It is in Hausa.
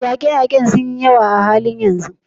Yaƙe-yaƙe sun yi yawa a halin yanzu.